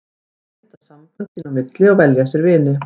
Þeir mynda sambönd sín á milli og velja sér vini.